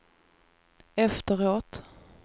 efteråt